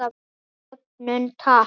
Jöfnun taps.